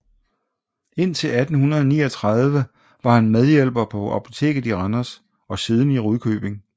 Indtil 1839 var han medhjælper på apoteket i Randers og siden i Rudkøbing